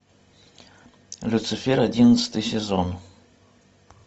люцифер одиннадцатый сезон